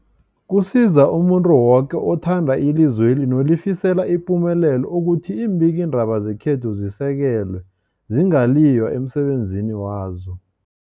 Kusiza umuntu woke othanda ilizweli nolifisela ipumelelo ukuthi iimbikiindaba zekhethu zisekelwe, zingaliywa emsebenzini wazo.